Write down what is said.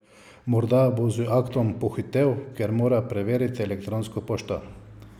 Morda bo z aktom pohitel, ker mora preveriti elektronsko pošto.